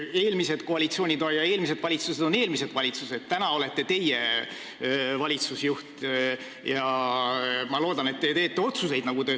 Eelmised koalitsioonid ja valitsused on eelmised, praegu olete valitsusjuht teie ja ma loodan, et te teete otsuseid.